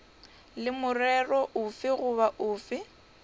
le morero ofe goba ofe